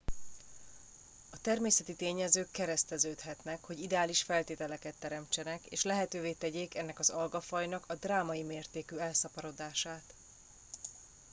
a természeti tényezők kereszteződhetnek hogy ideális feltételeket teremtsenek és lehetővé tegyék ennek az algafajnak a drámai mértékű elszaporodását